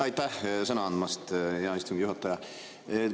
Aitäh sõna andmast, hea istungi juhataja!